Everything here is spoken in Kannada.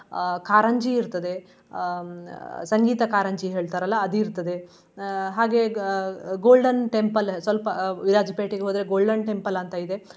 ಅಹ್ ಕಾರಂಜಿ ಇರ್ತದೆ. ಅಹ್ ಸಂಗೀತ ಕಾರಂಜಿ ಹೇಳ್ತಾರಲ್ಲಾ ಅದ್ ಇರ್ತದೆ. ಅಹ್ ಹಾಗೆ Golden Temple ಸ್ವಲ್ಪ ಅಹ್ ವಿರಾಜ್ಪೇಟೆಗೆ ಹೋದ್ರೆ Golden Temple ಅಂತ ಇದೆ.